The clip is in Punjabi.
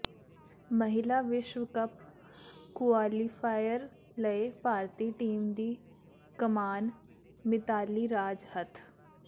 ਮਹਿਲਾ ਵਿਸ਼ਵ ਕੱਪ ਕੁਆਲੀਫਾਇਰ ਲਈ ਭਾਰਤੀ ਟੀਮ ਦੀ ਕਮਾਨ ਮਿਤਾਲੀ ਰਾਜ ਹੱਥ